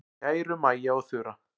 Kæru Maja og Þura.